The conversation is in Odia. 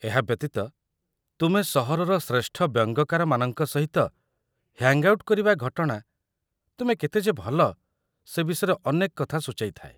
ଏହା ବ୍ୟତୀତ, ତୁମେ ସହରର ଶ୍ରେଷ୍ଠ ବ୍ୟଙ୍ଗକାରମାନଙ୍କ ସହିତ ହ୍ୟାଙ୍ଗ୍ ଆଉଟ୍ କରିବା ଘଟଣା ତୁମେ କେତେ ଯେ ଭଲ ସେ ବିଷୟରେ ଅନେକ କଥା ସୂଚାଇ ଥାଏ।